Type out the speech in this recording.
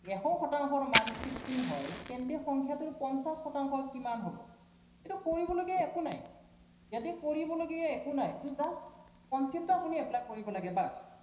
এশ শতাংশৰ মান sixteen হয়, তেন্তে সংখ্য়াটোৰ পঞ্চাশ শতাংশ কিমান হব, এইটো কৰিবলগীয়া একো নাই, ইয়াতে কৰিবলগীয়া একো নাই, এইটো just concept টো আপুনি apply কৰিব লাগে just